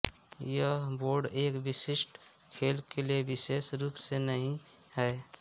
यह बोर्ड एक विशिष्ट खेल के लिए विशेष रूप से नहीं है